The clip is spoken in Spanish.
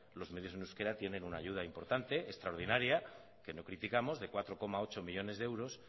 los medios en euskera tienen una ayuda importante extraordinaria que lo criticamos de cuatro coma ocho millónes de euros